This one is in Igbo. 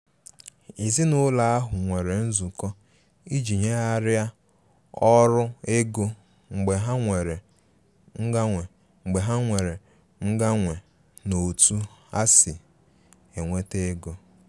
Èzìnàụlọ ahụ nwere nzụkọ iji nyèghariá ọrụ ego mgbe ha nwere mganwe nwere mganwe n' ọ̀tu ha si enweta ègò.